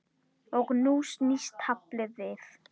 Og nú snýst taflið við.